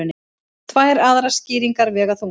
Tvær aðrar skýringar vega þungt